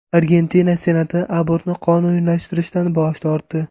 Argentina Senati abortni qonuniylashtirishdan bosh tortdi.